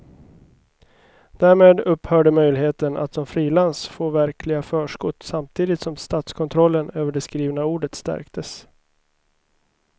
Därmed upphörde möjligheten att som frilans få verkliga förskott samtidigt som statskontrollen över det skrivna ordet stärktes.